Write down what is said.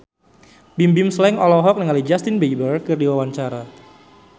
Bimbim Slank olohok ningali Justin Beiber keur diwawancara